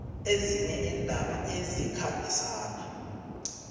ezinye iindaba ezikhambisana